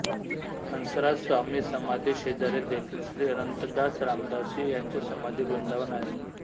हंसराज स्वामी समाधी शेजारी देखील श्री अनंतदास रामदासी यांचे समाधी वृंदावन आहे